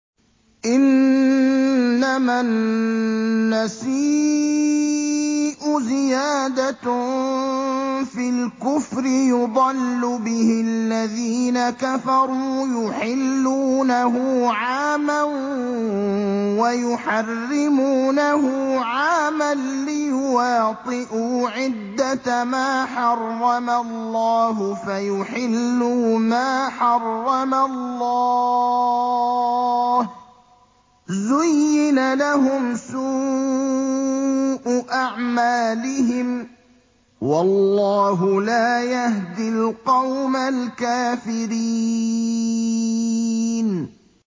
إِنَّمَا النَّسِيءُ زِيَادَةٌ فِي الْكُفْرِ ۖ يُضَلُّ بِهِ الَّذِينَ كَفَرُوا يُحِلُّونَهُ عَامًا وَيُحَرِّمُونَهُ عَامًا لِّيُوَاطِئُوا عِدَّةَ مَا حَرَّمَ اللَّهُ فَيُحِلُّوا مَا حَرَّمَ اللَّهُ ۚ زُيِّنَ لَهُمْ سُوءُ أَعْمَالِهِمْ ۗ وَاللَّهُ لَا يَهْدِي الْقَوْمَ الْكَافِرِينَ